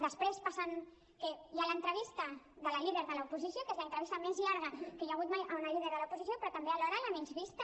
després passa que hi ha l’entrevista de la líder de l’oposició que és l’entrevista més llarga que hi ha hagut mai a una líder de l’oposició però també alhora la menys vista